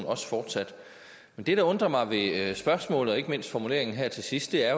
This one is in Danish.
også fortsat men det der undrer mig ved spørgsmålet og ikke mindst formuleringen her til sidst er